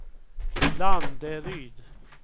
Landeryd